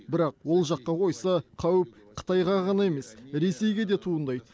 бірақ ол жаққа қойса қауіп қытайға ғана емес ресейге де туындайды